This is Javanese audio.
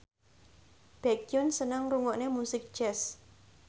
Baekhyun seneng ngrungokne musik jazz